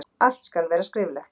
Allt skal vera skriflegt.